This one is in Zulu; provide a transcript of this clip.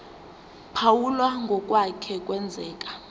phawula ngokwake kwenzeka